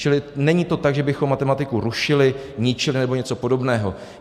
Čili není to tak, že bychom matematiku rušili, ničili nebo něco podobného.